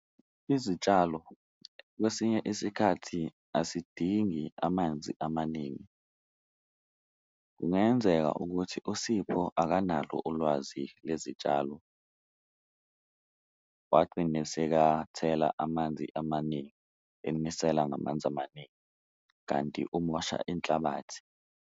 Izitshalo kwesinye isikhathi asidingi amanzi amaningi. Kungenzeka ukuthi uSipho akanalo ulwazi lezitshalo, wagcine sekathela amanzi amaningi emisela ngamanzi amaningi kanti umosha inhlabathi.